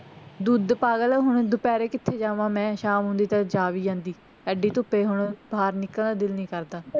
ਦੁੱਧ ਪਾਗਲ ਐ ਹੁਣ ਦੁਪਹਿਰੇ ਕਿਥ੍ਹੇ ਜਾਵਾਂ ਮੈਂ ਸ਼ਾਮ ਹੁੰਦੀ ਤਾਂ ਜਾ ਵੀ ਆਂਦੀ ਐਡੀ ਧੁੱਪੇ ਹੁਣ ਬਾਹਰ ਨਿਕਲਣੇ ਨੂੰ ਦਿਲ ਨੀ ਕਰਦਾ